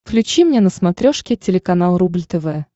включи мне на смотрешке телеканал рубль тв